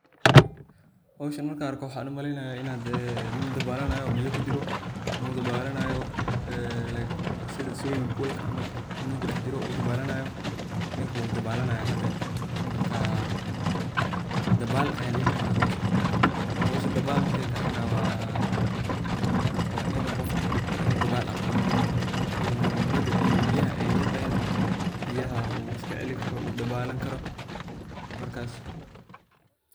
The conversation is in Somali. Howshan markan arko waxan umaleynaya dee nin dabalanayo oo biyo kujiro like sida swimming pool in uu kudhex jiro ninku wu dabalanaya hadeer marka dabaal ayan dihi karna howshan, howsha dabaal markey tahana wainu qofka dabaal aqano una biyaha ey liqeynin, biyaha uu iskacelini karo uu dabalani karo.